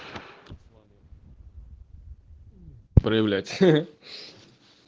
проявлять хаха